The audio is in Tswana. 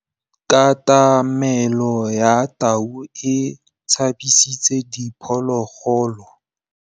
Katamêlô ya tau e tshabisitse diphôlôgôlô.